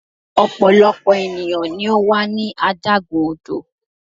ọpọlọpọ eniyan ni o wa ní adágún odò